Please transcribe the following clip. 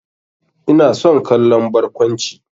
Ina son kallon barkwanci.